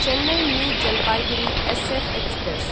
Chennai new Jalpaiguri SF express